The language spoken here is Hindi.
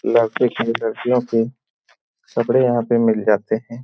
लड़के की लड़कियों की कपड़े यहां पर मिल जाते है।